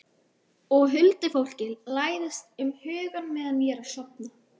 Og huldufólkið læðist um hugann meðan ég er að sofna.